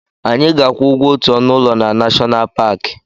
Anyị ga-akwụ ụgwọ otu ọnụ ụlọ na Nashọnal Paki.